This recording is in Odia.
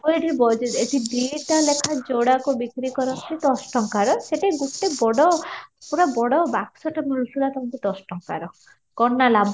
ଆମର ଏଠି ଦୁଇଟା ଲେଖା ଯୋଡ଼ାକୁ ବିକ୍ରି କରନ୍ତି ଦଶ ଟଙ୍କାର, ସେଠି ଗୋଟେ ବଡ ପୁରା ବଡ ବାକ୍ସ ଟା ମିଳୁଥିଲା ତାଙ୍କୁ ଦଶ ଟଙ୍କାର କ'ଣ ଟା ଲାଭ